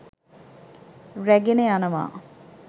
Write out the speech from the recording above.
රැගෙන යනවා.